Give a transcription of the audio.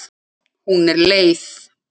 Hún er leið.